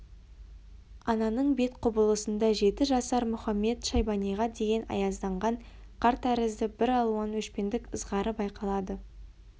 ананың бет құбылысында жеті жасар мұхамед-шайбаниға деген аязданған қар тәрізді бір алуан өшпендік ызғары байқалады